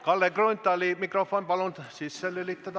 Kalle Grünthali mikrofon palun sisse lülitada!